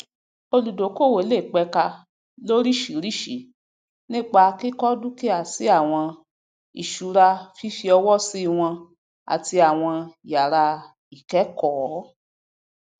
olùdókòwò le pẹka loriṣiíríṣìí nípa kíkọ dúkìá sí awọn ìṣurafífí ọwọ sí wọn àti àwon yàrá ikẹẹkọọ